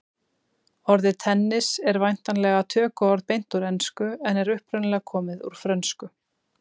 Orðið tennis en væntanlega tökuorð beint úr ensku en er upprunalega komið úr frönsku.